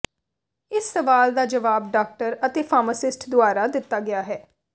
ਇਸ ਸਵਾਲ ਦਾ ਜਵਾਬ ਡਾਕਟਰ ਅਤੇ ਫਾਰਮਾਸਿਸਟ ਦੁਆਰਾ ਦਿੱਤਾ ਗਿਆ ਹੈ